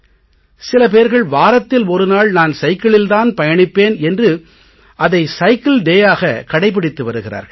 சில பேர்கள் வாரத்தில் ஒரு நாள் நான் சைக்கிளில் தான் பயணிப்பேன் என்று அதை சைக்கிள் டே யாக கடைபிடித்து வருகிறார்கள்